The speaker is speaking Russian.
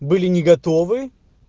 были не готовы